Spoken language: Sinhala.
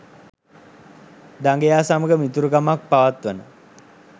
දඟයා සමග මිතුරුකමක් පවත්වන